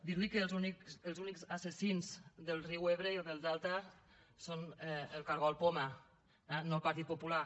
dir li que els únics assassins del riu ebre i del delta són el cargol poma eh no el partit popular